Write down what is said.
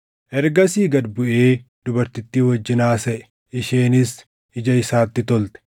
Ergasii gad buʼee dubartittii wajjin haasaʼe; isheenis ija isaatti tolte.